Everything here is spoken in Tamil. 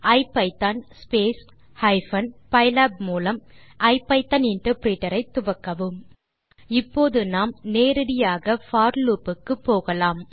ஐபிதான் ஹைபன் பைலாப் மூலம் ஐபிதான் இன்டர்பிரிட்டர் ஐ துவக்கவும் இப்போது நாம் நேரடியாக போர் லூப் க்கு போகலாம்